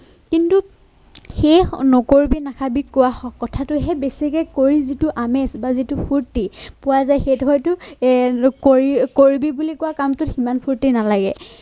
শেষ নকৰিবি নাখাবি কোৱা কথাটোহে বেছিকে কৰি যিটো আমেজ বা যিটো ফুৰ্তি পোৱা যায় সেইটো হয়তো এ কৰি কৰিবি বুলি কোৱা কামটোত সিমান ফুৰ্তি নালাগে।